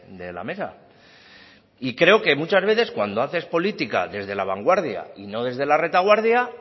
de la mesa y creo que muchas veces cuando haces política desde la vanguardia y no desde la retaguardia